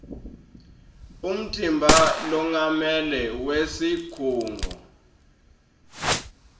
umtimba longamele wesikhungo